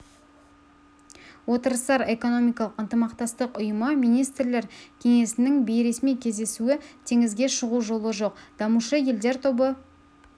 отырыстар экономикалық ынтымақтастық ұйымы министрлер кеңесінің бейресми кездесуі теңізге шығу жолы жоқ дамушы елдер тобы